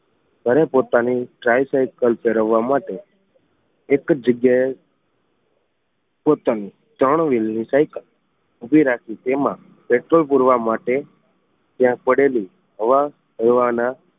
ઘરે પોતાની tricycle ફેરવવા માટે એક જ જગ્યા એ પોતાની ત્રણ વિલ ની સાઇકલ ઊભી રાખી તેમાં પેટ્રોલ પૂર્વ માટે ત્યાં પડેલી હવા ભરવાના